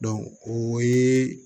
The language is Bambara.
o ye